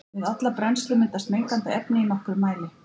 Við alla brennslu myndast mengandi efni í nokkrum mæli.